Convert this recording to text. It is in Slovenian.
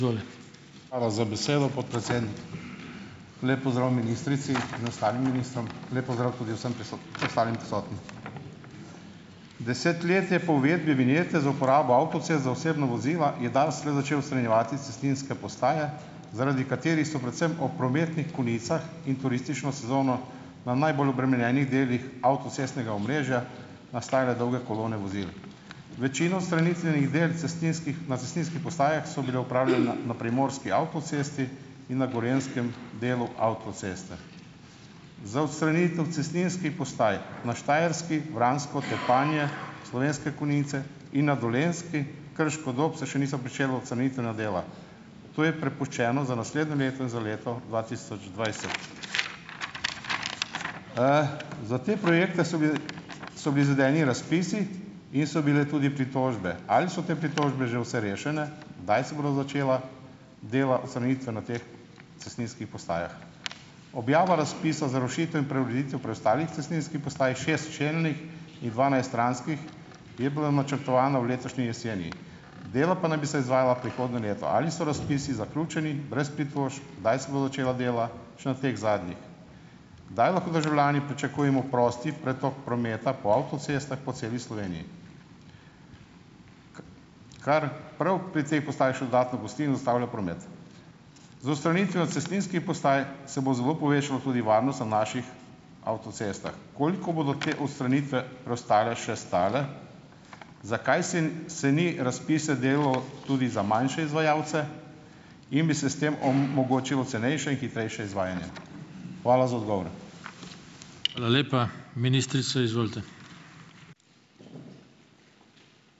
Hvala za besedo, podpredsednik. Lep pozdrav ministrici in ostalim ministrom, lep pozdrav tudi vsem ostalim prisotnim Deset let je po uvedbi vinjete za uporabo avtocest za osebna vozila je DARS le začel odstranjevati cestninske postaje, zaradi katerih so predvsem ob prometnih konicah in turistično sezono na najbolj obremenjenih delih avtocestnega omrežja nastajale dolge kolone vozil. Večino odstranitvenih del cestninskih na cestninski postajah so bila opravljena na primorski avtocesti in na gorenjskem delu avtoceste. Za odstranitev cestninskih postaj na Štajerski, Vransko, Tepanje, Slovenske Konjice in na Dolenjski, Krško-Dob se še niso pričela ocenitvena dela. To je prepuščeno za naslednje leto in za leto dva tisoč dvajset. Za te projekte so bili so bili izvedeni razpisi in so bile tudi pritožbe. Ali so te pritožbe že vse rešene? Kdaj se bodo začela dela odstranitve na teh cestninskih postajah? Objava razpisov za rušitve in preureditev preostalih cestninskih postaj, šest čelnih in dvanajst stranskih, je bilo načrtovano v letošnji jeseni, dela pa naj bi se izvajala prihodnje leto. Ali so razpisi zaključeni, brez pritožb? Kdaj se bo začela dela še na teh zadnjih? Kdaj lahko državljani pričakujemo prost pretok prometa po avtocestah po celi Sloveniji, kar prav pri tej postaji še dodatno gosti in ustavlja promet. Z odstranitvijo cestninskih postaj se bo zelo povečalo tudi varnost na naših avtocestah. Koliko bodo te odstranitve preostale še stale? Zakaj sen se ni razpise delilo tudi za manjše izvajalce in bi se s tem omogočilo cenejše in hitrejše izvajanje? Hvala za odgovor.